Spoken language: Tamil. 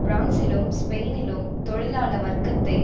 பிரான்சிலும் ஸ்பெயினிலும் தொழிலாள வர்க்கத்தை